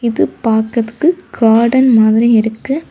இது பாக்கறதுக்கு கார்டன் மாதிரி இருக்கு.